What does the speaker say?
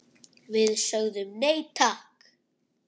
Við sögðum nei, takk!